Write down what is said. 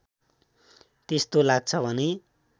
त्यस्तो लाग्छ भने